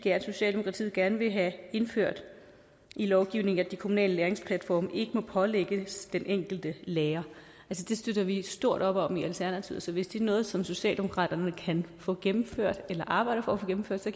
socialdemokratiet gerne vil have indført i lovgivningen at de kommunale læringsplatforme ikke må pålægges den enkelte lærer det støtter vi stort op om i alternativet så hvis det er noget som socialdemokratiet kan få gennemført eller arbejder for at få gennemført så